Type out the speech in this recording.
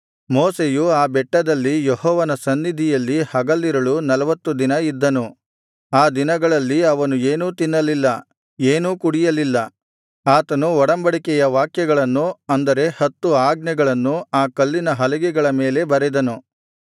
ಮೋಶೆಯು ಆ ಬೆಟ್ಟದಲ್ಲಿ ಯೆಹೋವನ ಸನ್ನಿಧಿಯಲ್ಲಿ ಹಗಲಿರುಳು ನಲ್ವತ್ತು ದಿನ ಇದ್ದನು ಆ ದಿನಗಳಲ್ಲಿ ಅವನು ಏನೂ ತಿನ್ನಲಿಲ್ಲ ಏನೂ ಕುಡಿಯಲಿಲ್ಲ ಆತನು ಒಡಂಬಡಿಕೆಯ ವಾಕ್ಯಗಳನ್ನು ಅಂದರೆ ಹತ್ತು ಆಜ್ಞೆಗಳನ್ನು ಆ ಕಲ್ಲಿನ ಹಲಗೆಗಳ ಮೇಲೆ ಬರೆದನು